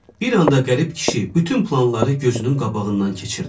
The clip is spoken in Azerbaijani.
Bir anda qərib kişi bütün planları gözünün qabağından keçirdi.